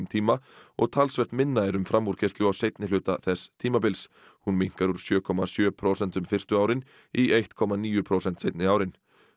tíma og talsvert minna er um framúrkeyrslu á seinni hluta þess tímabils hún minnkar úr sjö komma sjö prósentum fyrstu árin í eitt komma níu prósent seinni árin